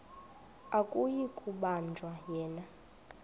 akuyi kubanjwa yena